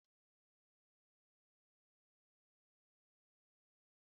Nụdles na ogiri bekee bụ nri ngwa ngwa dị ụtọ